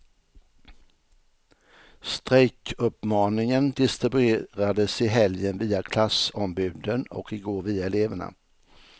Strejkuppmaningen distribuerades i helgen via klassombuden och igår via eleverna.